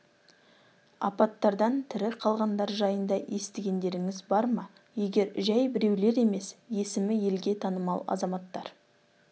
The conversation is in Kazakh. апаттардан тірі қалғандар жайында естігендеріңіз бар ма егер жәй біреулер емес есімі елге танымал азаматтар